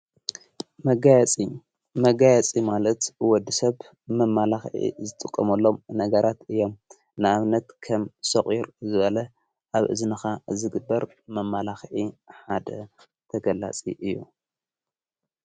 መጋያፂ መጋያፂ ማለት ወዲ ሰብ መማላኽአ ዝጥቖመሎም ነገራት እዮም ንኣብነት ከም ሶቝሩ ዝበለ ኣብ እዝንኻ ዝግበር መማላኽአ ሓደ ተገላጺ እዩ።